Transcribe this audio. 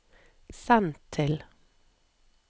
send til